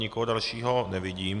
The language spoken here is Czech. Nikoho dalšího nevidím.